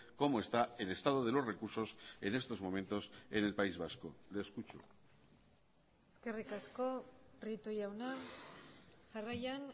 como está el estado de los recursos en estos momentos en el país vasco le escucho eskerrik asko prieto jauna jarraian